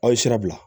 Aw ye sira bila